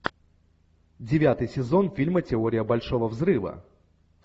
девятый сезон фильма теория большого взрыва